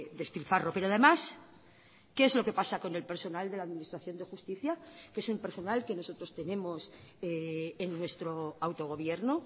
despilfarro pero además qué es lo que pasa con el personal de la administración de justicia que es un personal que nosotros tenemos en nuestro autogobierno